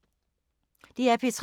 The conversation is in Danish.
DR P3